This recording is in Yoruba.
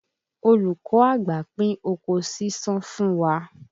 Olùkọ́ àgbà pín oko ṣíṣán fún wa